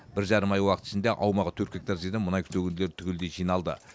бір жарым ай уақыт ішінде аумағы төрт гектар жерден мұнай төгінділері түгелдей жиналды